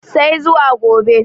sai zuwa gobe